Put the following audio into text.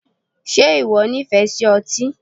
Ṣe ìwọ nífẹ̀ẹ́ sí otí?